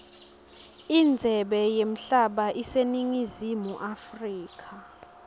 indzebe yemhlaba iseningizimu africa